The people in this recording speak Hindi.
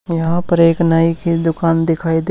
यहां पर एक नाई की दुकान दिखाई दे--